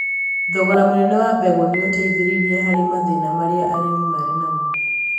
thogora mũnene wa mbegũ ni ũteithĩrĩrie harĩ mathĩna marĩa arimi marĩ namo